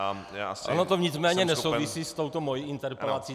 Ono to nicméně nesouvisí s touto mou interpelací.